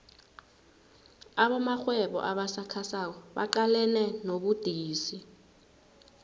abosomarhwebo abasakhasako baqalene nobudisi